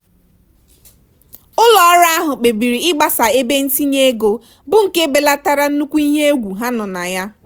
ụlọọrụ ahụ kpebiri ịgbasa ebe ntinye ego bụ nke belatara nnukwu ihe egwu ha nọ na ya.